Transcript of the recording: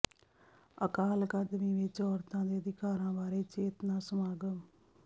ਅਕਾਲ academy ਵਿੱਚ ਔਰਤਾਂ ਦੇ ਅਧਿਕਾਰਾਂ ਬਾਰੇ ਚੇਤਨਾ ਸਮਾਗਮ